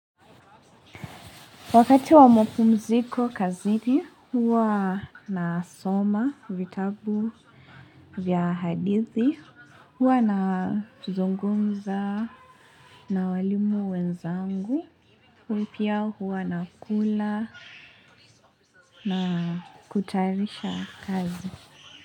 Wakati wa mapumziko kazini, huwa nasoma vitabu vya hadithi, huwa nazungumza na walimu wenzangu, huipia huwa na kula na kutayarisha kazi.